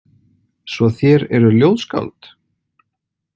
Svo þér eruð ljóðskáld?